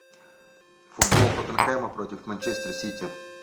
футбол тоттенхэма против манчестер сити